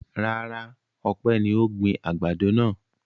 Rárá, Ọpẹ́ ni ó gbin àgbàdo náà.